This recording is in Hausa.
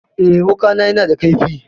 Eh, wuƙana yana da kaifi.